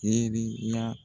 N ɲɛ bɛ i la